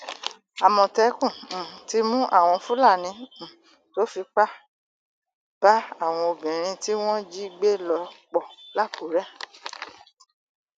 àmọtẹkùn um ti mú àwọn fúlàní um tó fipá bá àwọn obìnrin tí wọn jí gbé lò pọ lákùrẹ